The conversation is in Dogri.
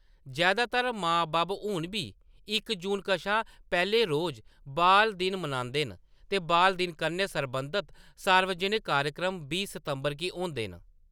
जैदातर मां-बब्ब हून बी इक जून कशा पैह्‌ले रोज बाल दिन मनांदे न, ते बाल दिन कन्नै सरबंधत सार्वजनक कार्यक्रम बीह् सितंबर गी होंदे न।